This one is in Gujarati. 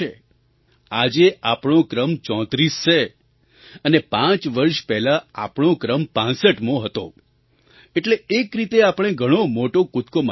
આજે આપણો ક્રમ 34 છે અને પાંચ વર્ષ પહેલાં આપણો ક્રમ 65મો હતો એટલે એક રીતે આપણે ઘણો મોટો કૂદકો મારી દીધો છે